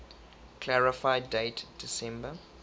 clarify date december